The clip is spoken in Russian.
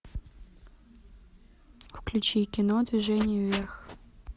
включи кино движение вверх